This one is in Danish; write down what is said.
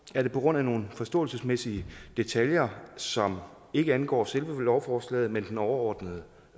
er det på grund af nogle forståelsesmæssige detaljer som ikke angår selve lovforslaget men den overordnede